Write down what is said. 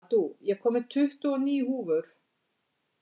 Addú, ég kom með tuttugu og níu húfur!